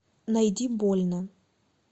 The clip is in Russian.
найди больно